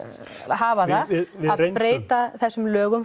hafa það að breyta þessum lögum